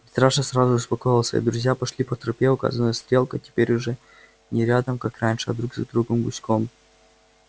митраша сразу успокоился и друзья пошли по тропе указанной стрелкой теперь уже не рядом как раньше а друг за другом гуськом